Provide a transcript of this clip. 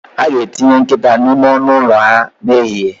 A ga-etinye nkịta n'ime ọnụ ụlọ ha n'ehihie